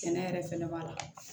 Sɛnɛ yɛrɛ fɛnɛ b'a la